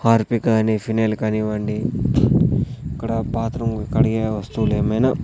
Harpic కాని phenyl కానివ్వండి ఇక్కడ బాత్రూం కడిగే వస్తువులేమైనా --